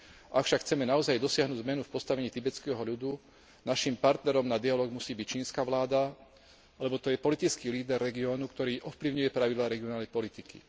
Ak však chceme naozaj dosiahnuť zmenu v postavení tibetského ľudu, našim partnerom na dialóg musí byť čínska vláda, lebo to je politický líder regiónu, ktorý ovplyvňuje pravidlá regionálnej politiky.